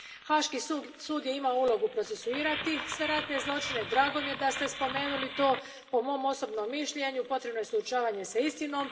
Haški sud je imao ulogu procesuirati sve ratne zločine, drago mi je da ste spomenuli to, po mom osobnom mišljenju potrebno je suočavanje s istinom.